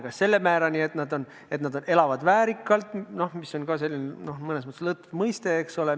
Kas selle määrani, et nad elavad väärikalt, mis on ka mõnes mõttes lõtv mõiste, eks ole.